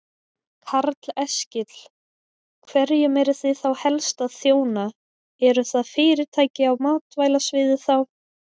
Karl Eskil: Hverjum eruð þið þá helst að þjóna, eru það fyrirtæki á matvælasviði þá?